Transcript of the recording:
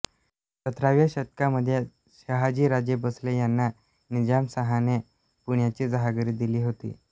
सतराव्या शतकामध्ये शहाजीराजे भोसले यांना निजामशाहाने पुण्याची जहागिरी दिली होती